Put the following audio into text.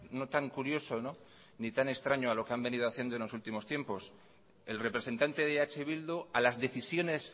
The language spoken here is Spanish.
no tan curioso ni tan extraño a lo que han venido haciendo en los últimos tiempos el representante de eh bildu a las decisiones